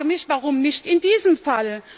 Ich frage mich Warum nicht in diesem Fall?